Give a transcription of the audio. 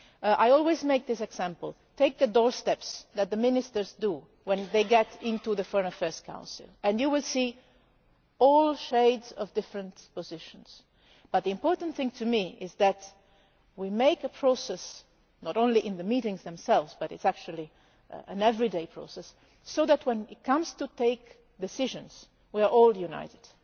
I always give this example take the doorstep statements that the ministers make when they go to the Foreign Affairs Council and you will see all shades of different positions but the important thing to me is that we go through a process, not only in the meetings themselves but actually an everyday process, so that when it comes to take decisions we are all united.